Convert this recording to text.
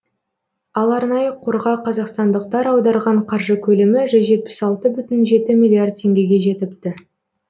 ал арнайы қорға қазақстандықтар аударған қаржы көлемі жүз жетпіс алты бүтін жеті миллиард теңгеге жетіпті